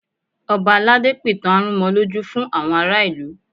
Ọba aládé pìtàn arúnmọlójú fún àwọn ará ìlú